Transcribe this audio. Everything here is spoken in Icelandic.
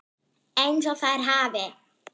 EINS OG ÞÆR HAFI